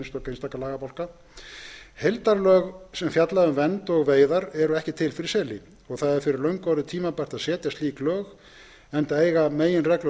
einstaka lagabálka heildarlög sem fjalla um vernd og veiðar eru ekki til fyrir seli og fyrir löngu orðið tímabært að setja slík lög enda eiga meginreglur